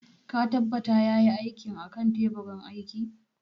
Ka tabbata ya yi aikin a kan teburin aiki?